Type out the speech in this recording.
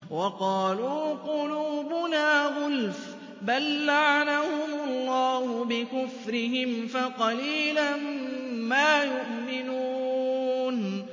وَقَالُوا قُلُوبُنَا غُلْفٌ ۚ بَل لَّعَنَهُمُ اللَّهُ بِكُفْرِهِمْ فَقَلِيلًا مَّا يُؤْمِنُونَ